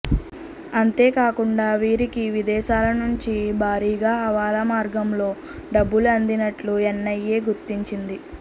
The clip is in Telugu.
అంతేకాకుండా వీరికి విదేశాలనుంచి భారీగా హవాలా మార్గంలో డబ్బులు అందినట్టు ఎన్ఐఏ గుర్తించింది